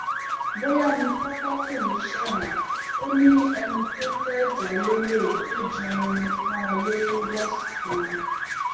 bóyá ni tọpẹ kò ní í ṣẹwọn o ẹni tó fẹẹ jà lọlẹ ló jan irin mọ lórí lọsgbọn